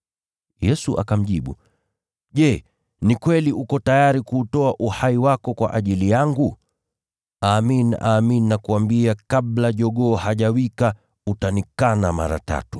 Yesu akamjibu, “Je, ni kweli uko tayari kuutoa uhai wako kwa ajili yangu? Amin, amin nakuambia, kabla jogoo hajawika, utanikana mara tatu.”